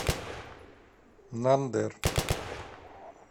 нандер